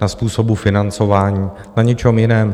Na způsobu financování, na ničem jiném.